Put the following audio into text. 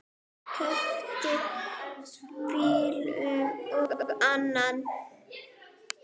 Keypti bíl og annan.